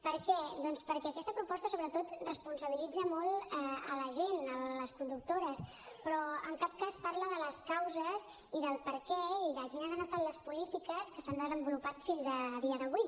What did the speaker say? per què doncs perquè aquesta proposta sobretot responsabilitza molt la gent les conductores però en cap cas parla de les causes i del perquè i de quines han estat les polítiques que s’han desenvolupat fins a dia d’avui